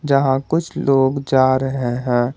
यहां कुछ लोग जा रहे हैं।